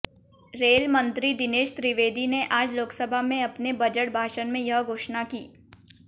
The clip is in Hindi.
रेल मंत्री दिनेश त्रिवेदी ने आज लोकसभा में अपने बजट भाषण में यह घोषणा की